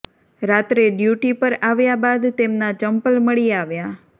રાત્રે ડ્યુટી પર આવ્યા બાદ તેમના ચંપલ મળી આવ્યાં